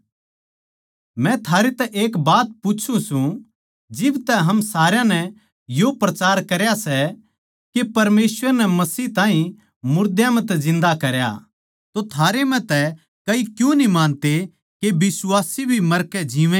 मै थारे तै एक बात पूच्छु सूं जिब तै हम सारया नै यो प्रचार करया सै के परमेसवर नै मसीह ताहीं मुर्दां म्ह तै जिन्दा करया तो थारै म्ह तै कई क्यूँ न्ही मानते के बिश्वासी भी मरकै जीवैंगे